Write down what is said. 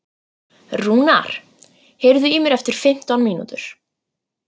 Rúnar, heyrðu í mér eftir fimmtán mínútur.